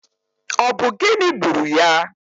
Ọ bụ gịnị gburu ya?